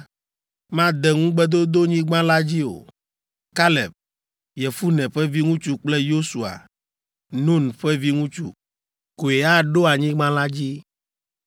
made Ŋugbedodonyigba la dzi o. Kaleb, Yefune ƒe viŋutsu kple Yosua, Nun ƒe viŋutsu, koe aɖo anyigba la dzi.